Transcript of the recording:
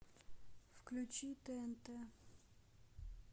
включи тнт